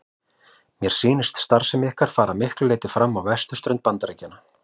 Mér sýnist starfsemi ykkar fara að miklu leyti fram á vesturströnd Bandaríkjanna.